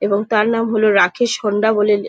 এবং তার নাম হলো রাকেশ হোন্ডা বলে লে --